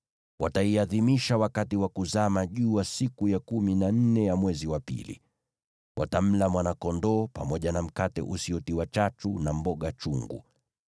Wataiadhimisha wakati wa kuzama jua siku ya kumi na nne ya mwezi wa pili. Watamla mwana-kondoo, pamoja na mkate usiotiwa chachu, na mboga chungu.